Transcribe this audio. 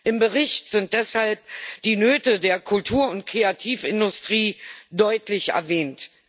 Im Bericht sind deshalb die Nöte der Kultur und Kreativindustrie deutlich erwähnt.